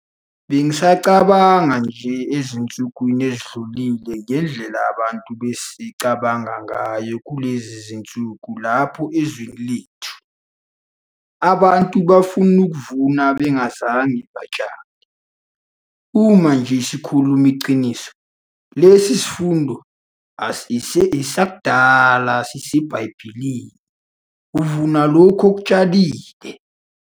Bengisacabanga nje ezinsukwini ezidlulile ngendlela abantu asebecabanga ngayo kulezi zinsuku lapha ezweni lethu - abantu bafuna ukuvuna bengazange batshale. Uma nje sikhuluma iqiniso, lesi yisifundo esidala saseBhayibhelini - uvuna lokhu okutshalile.